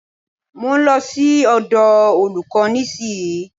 Mo ń lọ sí ọ̀dọ̀ olúkò nísìyí.